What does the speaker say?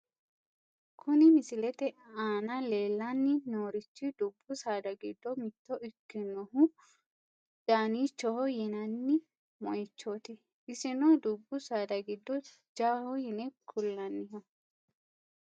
Kuni misilete aana leellanni noorichi dubbu saada giddo mitto ikkinohu daaniichoho yinanni moyiichooti. isino dubbu saada giddo jawaho yine kullanniho.